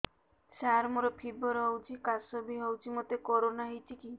ସାର ମୋର ଫିବର ହଉଚି ଖାସ ବି ହଉଚି ମୋତେ କରୋନା ହେଇଚି କି